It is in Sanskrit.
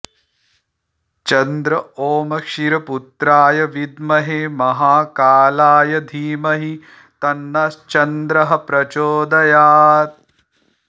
चन्द्र ॐ क्षीरपुत्राय विद्महे महाकालाय धीमहि तन्नश्चन्द्रः प्रचोदयात्